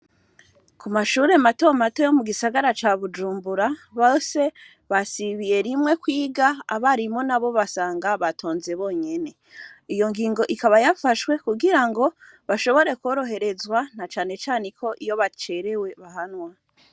Ku mashure matomato yo mu gisagara ca bujumbura base basibiye rimwe kwiga abarimo na bo basanga batonze bonyene iyo ngingo ikaba yafashwe kugira ngo bashobore kworoherezwa na canecane ko iyo bacerewe bahanwa.